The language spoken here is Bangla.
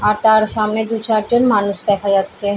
আর তার সামনে দু চারজন মানুষ দেখা যাচ্ছে।